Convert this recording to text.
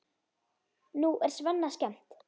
Nú er Svenna skemmt.